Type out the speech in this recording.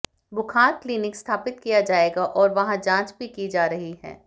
बुखार क्लिनिक स्थापित किया जाएगा और वहां जांच भी की जा रही है